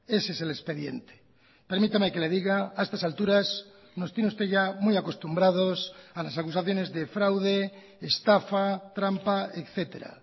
ese es el expediente permítame que le diga a estas alturas nos tiene usted ya muy acostumbrados a las acusaciones de fraude estafa trampa etcétera